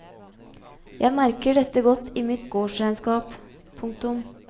Jeg merker dette godt i mitt gårdsregnskap. punktum